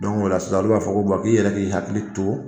Don ola sisan , o l'u b'a fɔ ko bɔ n k'i yɛrɛ k'i hakili to.